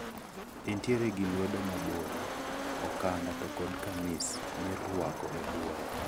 entiere gi lwedo maboyo, okanda to kod kamis mirwako e buoye.